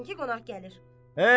Görmürsən ki, qonaq gəlir.